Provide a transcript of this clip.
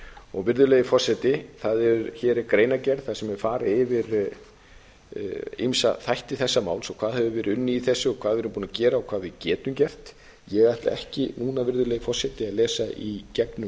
orsakir virðulegi forseti hér er greinargerð þar sem er farið yfir ýmsa þætti þessa mál og hvað hefur verið unnið í þessu og hvað við erum búin að gera og hvað við getum gert ég ætla ekki núna virðulegi forseti að lesa í gegnum hana